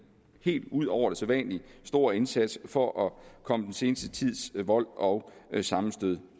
helt ud over det sædvanlige stor indsats for at komme den seneste tids vold og sammenstød